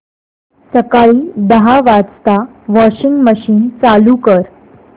सकाळी दहा वाजता वॉशिंग मशीन चालू कर